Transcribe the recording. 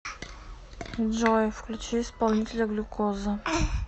джой включи исполнителя глюкоза